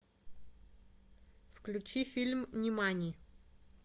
включи фильм нимани